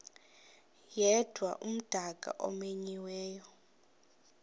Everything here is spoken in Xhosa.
yedwa umdaka omenyiweyo